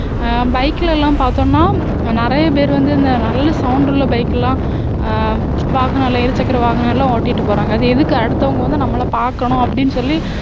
அஹ் bike ல எல்லாம் பார்த்தோம்ன்னா நிறைய பேர் வந்து இந்த நல்ல sound உள்ள bike லாம் அஹ் வாகனங்கள்ல இருசக்கர வாகனம் எல்லாம் ஓட்டிட்டு போறாங்க அது எதுக்கு அடுத்தவங்க வந்து நம்மளை பாக்கணும் அப்படின்னு சொல்லி